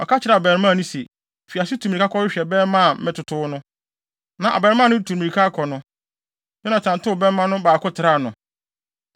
Ɔka kyerɛɛ abarimaa no se, “Fi ase tu mmirika kɔhwehwɛ bɛmma a metotow no.” Na abarimaa no retu mmirika akɔ no, Yonatan tow bɛmma no baako traa no.